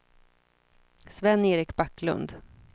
Sven-Erik Backlund